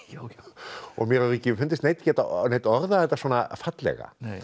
og mér hefur ekki fundist neinn geta orðað þetta svona fallega